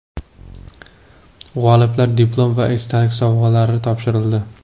G‘oliblarga diplom va esdalik sovg‘alar topshirildi.